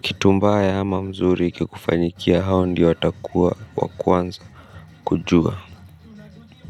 kitumbaya ama mzuri kikufanyikia hao ndiyo watakuwa wakuanza kujua.